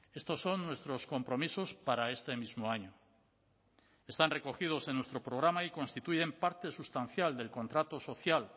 estos son nuestros compromisos para este mismo año están recogidos en nuestro programa y constituyen parte sustancial del contrato social